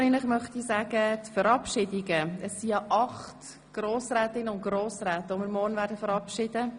Wir werden morgen acht Grossrätinnen und Grossräte verabschieden.